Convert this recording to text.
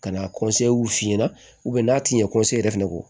Ka na f'i ɲɛna n'a ti ɲɛ yɛrɛ fɛnɛ kɔ